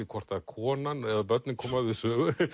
hvort að konan eða börnin koma við sögu